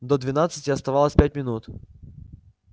до двенадцати оставалось пять минут